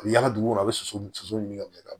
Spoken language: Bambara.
A bɛ yala dugu kɔnɔ a bɛ soso ɲini ka bila